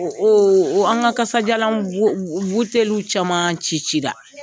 an ka kasajalan i caman cicila.